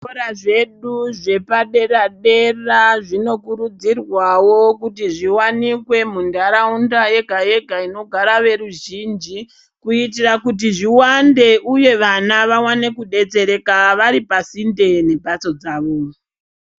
Zvikora zvedu zvepadera-dera zvino kurudzirwawo kuti zviwanikwe muntaraunda yega-yega inogara veruzhinji, kuitira kuti zviwande uye vana vawane kudetsereka varipasinde nemhatso dzavo.